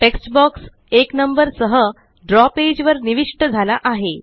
text box 1नंबर सह द्रव पेज वर निविष्ट झाला आहे